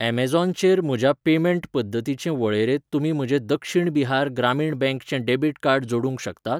Amazon चेर म्हज्या payment पद्दतींचे वळेरेंत तुमी म्हजें दक्षिण बिहार ग्रामीण बँक चें डॅबिट कार्ड जोडूंक शकतात?